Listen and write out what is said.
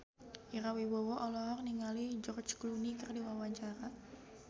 Ira Wibowo olohok ningali George Clooney keur diwawancara